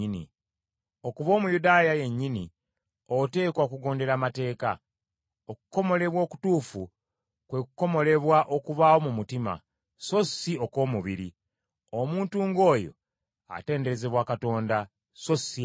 Okuba Omuyudaaya yennyini oteekwa okugondera amateeka. Okukomolebwa okutuufu kwe kukomolebwa okubaawo mu mutima, so si okw’omubiri. Omuntu ng’oyo atenderezebwa Katonda, so si abantu.